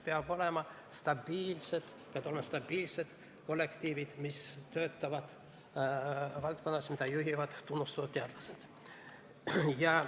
Peavad olema stabiilsed kollektiivid, kes töötavad valdkonnas, mida juhivad tunnustatud teadlased.